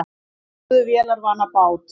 Aðstoðuðu vélarvana bát